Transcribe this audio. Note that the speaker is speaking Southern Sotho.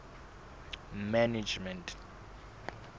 management